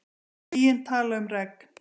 Skýin tala um regn.